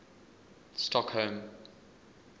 stockholm